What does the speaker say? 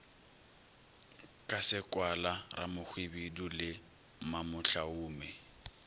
ka sekwala ramohwibidu le mamohlaume